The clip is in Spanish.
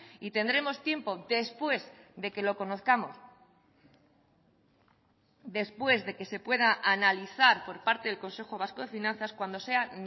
y tendremos tiempo después de que lo conozcamos después de que se pueda analizar por parte del consejo vasco de finanzas cuando sea